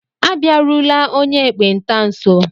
Abịarula onye ekpenta nso!